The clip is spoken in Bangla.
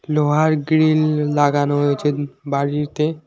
লোহার গ্রিল লাগানো রয়েছে বাড়িতে।